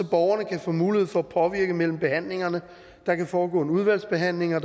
borgerne kan få mulighed for at påvirke tingene mellem behandlingerne og så der kan foregå en udvalgsbehandling og